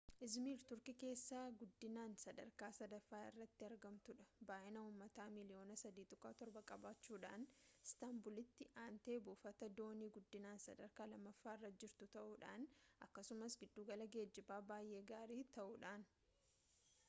izmiir turkii keessaa guddinaan sadarkaa sadaffaa irratti argamtudha baay'ina uummata miiliyoona 3.7 qabaachuudhaan istaanbulitti aanteebuufata doonii guddinaan sadarkaa lammaffaarra jirtu ta'uudhaan akkasumas giddugala geejibaa baay'ee gaarii ta'uudhaan